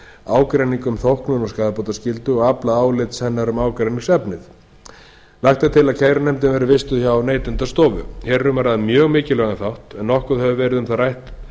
ágreining um þóknun og skaðabótaskyldu og aflað álits hennar um ágreiningsefnið lagt er til að kærunefndin verði vistuð hjá neytendastofu hér er um að ræða mjög mikilvægan þátt en nokkuð hefur verið um það rætt